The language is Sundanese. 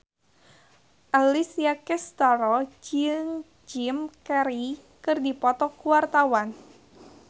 Alessia Cestaro jeung Jim Carey keur dipoto ku wartawan